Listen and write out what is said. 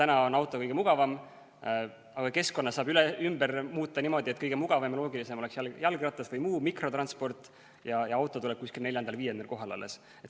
Auto on küll kõige mugavam, aga keskkonna saab ümber teha niimoodi, et kõige mugavam ja loogilisem oleks jalgratas või muu mikrotransport ning auto tuleks alles neljandal-viiendal kohal.